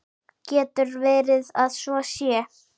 Getur verið að svo sé?